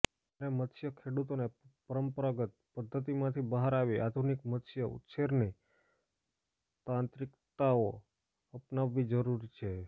ત્યારે મત્સ્ય ખેડૂતોને પરંપરાગત પધ્ધતિમાંથી બહાર આવી આધુનિક મત્સ્ય ઉછેરની તાંત્રિકતાઓ અપનાવવી જરૂરી છે